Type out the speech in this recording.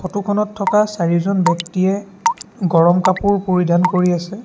ফটোখনত থকা চাৰিজন ব্যক্তিয়ে গৰম কাপোৰ পৰিধান কৰি আছে।